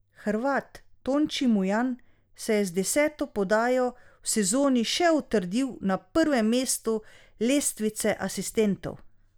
Hrvat Tonči Mujan se je z deseto podajo v sezoni še utrdil na prvem mestu lestvice asistentov.